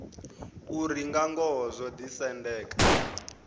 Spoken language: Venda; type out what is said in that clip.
uri nga ngoho zwo ḓisendeka